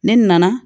Ne nana